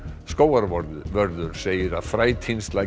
skógarvörður segir að